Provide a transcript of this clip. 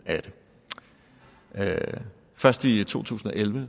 af det først i to tusind og elleve